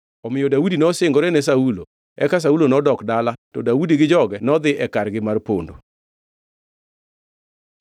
Omiyo Daudi nosingore ne Saulo. Eka Saulo nodok dala, to Daudi gi joge nodhi e kargi mar pondo.